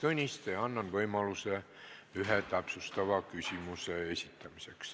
Annan iga teema arutelul võimaluse ühe täpsustava küsimuse esitamiseks.